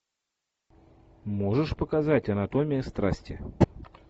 можешь показать анатомия страсти